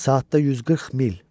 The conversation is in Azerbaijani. Saatda 140 mil.